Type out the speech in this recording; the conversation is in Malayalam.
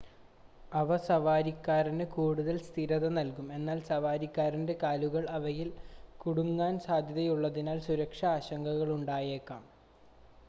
അവ സവാരിക്കാരന് കൂടുതൽ സ്ഥിരത നൽകുന്നു എന്നാൽ സവാരിക്കാരൻ്റെ കാലുകൾ അവയിൽ കുടുങ്ങാൻ സാധ്യതയുള്ളതിനാൽ സുരക്ഷാ ആശങ്കകൾ ഉണ്ടായേക്കാം